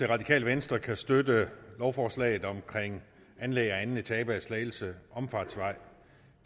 radikale venstre kan støtte lovforslaget om anlæg af anden etape af slagelse omfartsvej